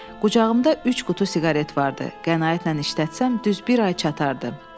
Qucağımda üç qutu siqaret vardı, qənaətlə işlətsəm düz bir ay çatardı.